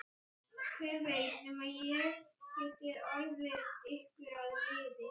Hver veit nema ég geti orðið ykkur að liði.